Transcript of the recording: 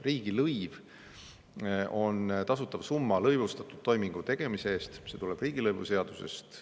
Riigilõiv on tasutav summa lõivustatud toimingu tegemise eest – see tuleb riigilõivuseadusest.